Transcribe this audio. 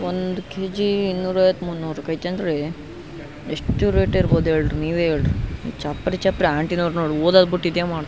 ಒಂದ್ ಕೆಜಿ ಇನ್ನೂರ ಐವತ್ತು ಮುನ್ನೂರ ಅಯ್ತೆಅಂದ್ರೆ ಎಷ್ಟು ರೇಟ್ ಇರ್ಬಹುದು ಹೇಳ್ರಿ ನೀವೇ ಹೇಳ್ರಿ ಚಪ್ರಿ ಚಪ್ರಿ ಒದದ ಬಿಟ್ಟ ಆಂಟಿ ನವ್ರು ಇದೆ ಮಾಡ್ತಾರಾ --